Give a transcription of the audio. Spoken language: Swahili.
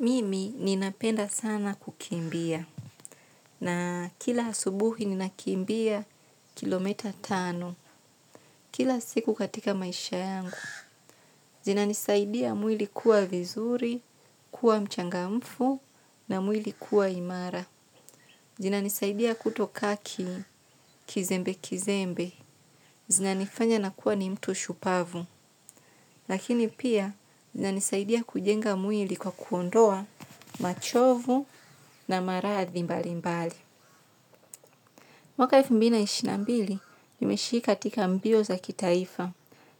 Mimi ninapenda sana kukimbia na kila asubuhi ninakimbia kilomita tano kila siku katika maisha yangu. Zina nisaidia mwili kuwa vizuri, kuwa mchangamfu na mwili kuwa imara. Zinanisaidia kutoka kizembe kizembe. Zina nifanya nakuwa ni mtu shupavu. Lakini pia nina nisaidia kujenga mwili kwa kuondoa machovu na marathi mbali mbali. Mwaka elfumbili na ishirininambili jimeshika tika mbio za kitaifa